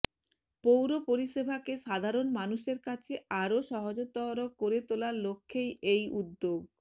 পৌর পরিষেবাকে সাধারণ মানুষের কাছে আরও সহজতর করে তোলার লক্ষ্যেই এই উদ্যোগ